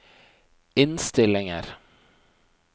innstillinger